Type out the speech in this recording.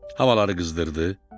Havaları qızdırdı.